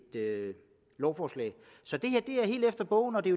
lovforslag så det her er helt efter bogen og det